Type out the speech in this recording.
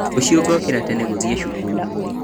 Rũciũ ngokĩra tene gũthiĩ cukuru